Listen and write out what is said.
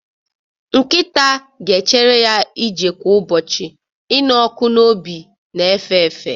Nkịta ga-echere ya ije kwa ụbọchị, ịnụ ọkụ n'obi na-efe efe.